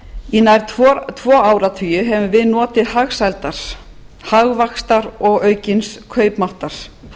í nær tvo áratugi höfum við notið hagsældar hagvaxtar og aukins kaupmáttar